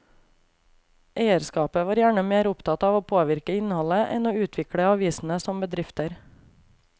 Eierskapet var gjerne mer opptatt av å påvirke innholdet enn å utvikle avisene som bedrifter.